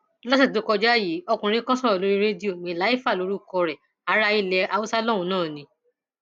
lọsẹ tó kọjá yìí ọkùnrin kan sọrọ lórí rédíò mailafia lórúkọ ẹ ará ilé haúsá lọhùnún náà ni